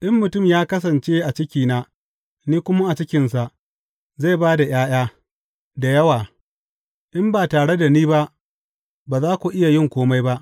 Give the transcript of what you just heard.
In mutum ya kasance a cikina ni kuma a cikinsa, zai ba da ’ya’ya da yawa; in ba tare da ni ba, ba za ku iya yin kome ba.